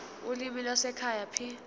ulimi lwasekhaya p